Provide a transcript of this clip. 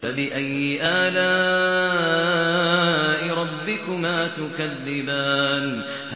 فَبِأَيِّ آلَاءِ رَبِّكُمَا تُكَذِّبَانِ